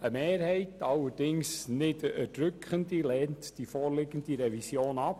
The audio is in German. Eine Mehrheit, allerdings keine erdrückende, lehnt die vorliegende Revision ab.